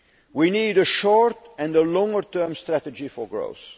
We need a short and a longer term strategy for